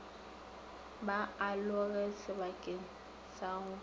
ba aloge sebakeng sa go